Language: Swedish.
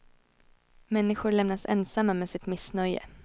Människor lämnas ensamma med sitt missnöje.